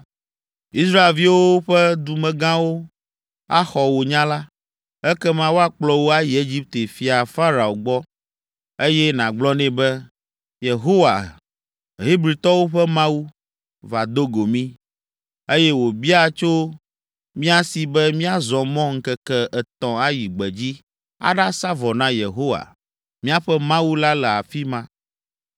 “Israelviwo ƒe dumegãwo axɔ wò nya la, ekema woakplɔ wò ayi Egipte fia Farao gbɔ, eye nàgblɔ nɛ be, ‘Yehowa, Hebritɔwo ƒe Mawu, va do go mí, eye wòbia tso mía si be míazɔ mɔ ŋkeke etɔ̃ ayi gbedzi aɖasa vɔ na Yehowa, míaƒe Mawu la le afi ma.’